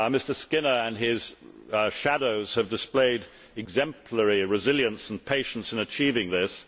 Mr Skinner and his shadows have displayed exemplary resilience and patience in achieving this.